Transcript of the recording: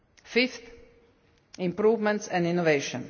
Fifth improvements and innovation.